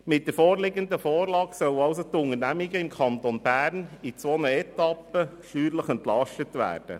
Mit der vorliegenden Vorlage sollen die Unternehmungen im Kanton Bern in zwei Etappen steuerlich entlastet werden.